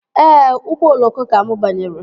Ee, ụgbọ oloko ka mụ banyere